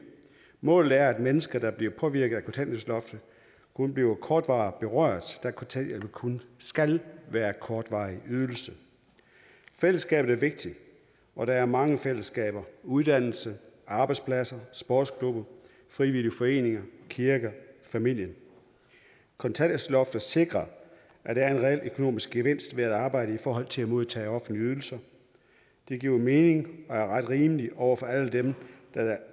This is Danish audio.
målet er at mennesker der bliver påvirket af kontanthjælpsloftet kun bliver kortvarigt berørt da kontanthjælpen kun skal være en kortvarig ydelse fællesskabet er vigtigt og der er mange fællesskaber uddannelsessteder arbejdspladser sportsklubber frivillige foreninger kirker og familien kontanthjælpsloftet sikrer at der er en reel økonomisk gevinst ved at arbejde i forhold til at modtage offentlige ydelser det giver mening og er ret og rimeligt over for alle dem der